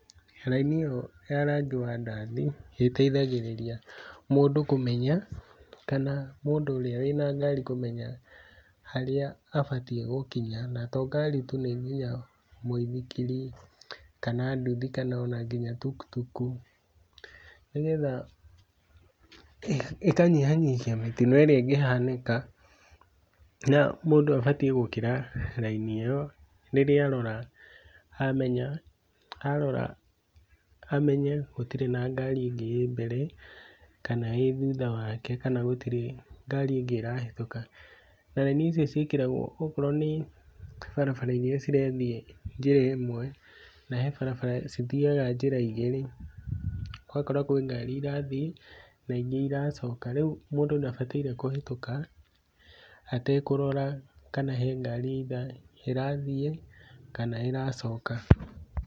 Mĩraini ĩyo ya rangi wa ndathi nĩ ĩteithagĩrĩria mũndũ kũmenya, kana mũndũ ũrĩa wĩna ngari kũmenya harĩa abatie gũkinya, na to ngari tu nĩ nginya mwĩthikiri, kana nduthi, kana ona nginya tukutuku, nĩgetha ĩkanyihia nyihia mĩtino irĩa ĩngihanĩka, na mũndũ abatie gũkĩra raini ĩyo rĩrĩa arora amenya, arora amenya hatirĩ na ngari angĩ ĩ mbere, kana ĩthutha wake, kana gũtirĩ ngari angĩ ĩrahetuka, na raini icio cĩakĩragwo akorwo nĩ barabara-inĩ iria irathiĩ njĩra ĩmwe, nahe barabara cithiyaga njĩra igĩrĩ, ũgakora kwĩ ngari irathiĩ na ingĩ iracoka, rĩu mũndũ ndabatarĩ kũhetũka atekũrora kana he ngari either ĩrathiĩ kana ĩracoka.